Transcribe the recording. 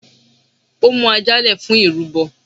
Ó mú ajá le fún irúbo.